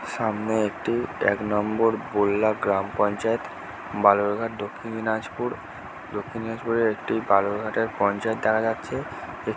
সামনে একটি এক নম্বর বললা গ্রাম পঞ্চায়েত বালুরঘাট দক্ষিন দিনাজপুর দক্ষিণ দিনাজপুরের একটি বালুরঘাটের পঞ্চায়েত দেখা যাচ্ছে।